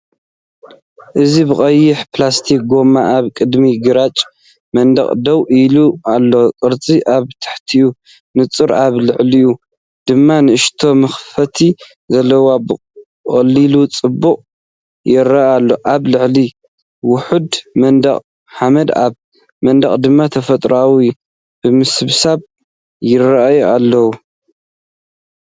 እዚ ብቀይሕ ፕላስቲክ ጎማ ኣብ ቅድሚ ግራጭ መንደቕ ደው ኢሉ ኣሎ፤ ቅርጹ፡ ኣብ ታሕቲ ንጹር፡ኣብ ላዕሊ ድማ ንእሽቶ መኽፈቲ ዘለዎ፡ ብቐሊል ጽባቐ ይረአ ኣሎ። ኣብ ላዕሊ ውሑድ ምድቃቕ ሓመድ ኣብ መንደቕ ድማ ተፈጥሮኣዊ ምብስባስ ይራኣዩ ኣለው።